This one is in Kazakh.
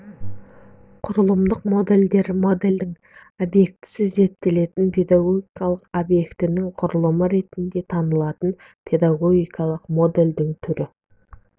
құрылымдық модельдер модельдің объектісі зерттелінетін педагогикалық объектінің құрылымы ретінде танылатын педагогикалық модельдің түрі